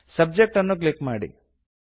subject ಅನ್ನು click ಮಾಡಿ